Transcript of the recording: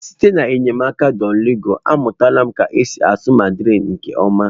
Site n'enyemaka Duolingo a, amụtala m ka esi asụ mandarịn nke ọma.